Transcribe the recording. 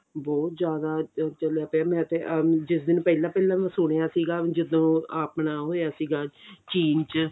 ਬਹੁਤ ਜ਼ਿਆਦਾ ਚੱਲਿਆ ਪਿਆ ਮੈਂ ਤੇ ah ਜਿਸ ਦਿਨ ਪਹਿਲਾਂ ਪਹਿਲਾਂ ਮੈਂ ਸੁਣਿਆ ਸੀਗਾ ਜਦੋਂ ਆਪਣਾ ਹੋਇਆ ਸੀਗਾ ਚੀਨ ਚ